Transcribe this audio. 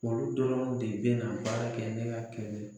Olu dɔrɔn de bɛna baara kɛ ne ka kɛlɛ